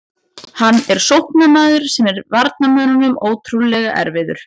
Hann er sóknarmaður sem er varnarmönnum ótrúlega erfiður.